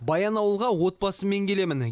баянауылға отбасыммен келемін